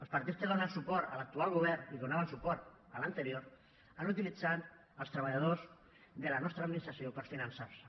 els partits que donen suport a l’actual govern i donaven suport a l’anterior han utilitzat els treballadors de la nostra administració per finançar se